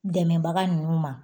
Dɛmɛbaga nunnu ma